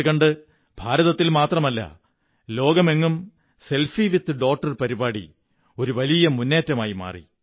അതുകണ്ട് ഭാരതത്തിൽ മാത്രമല്ല ലോകമെങ്ങും സെല്ഫിട വിത് ഡോട്ടർ പരിപാടി ഒരു വലിയ മുന്നേറ്റമായി മാറി